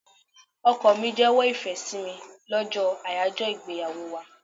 Ọkọ mi jewo ìfẹ́ sí mi lọ́jọ́ ayajo ìgbéyàwó wá.